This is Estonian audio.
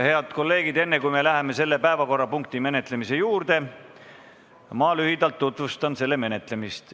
Head kolleegid, enne kui me läheme selle päevakorrapunkti arutamise juurde, ma lühidalt tutvustan selle menetlemist.